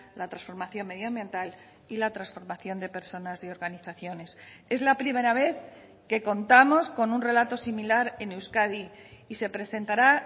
la transformación medioambiental y la transformación de personas y organizaciones es la primera vez que contamos con un relato similar en euskadi y se presentará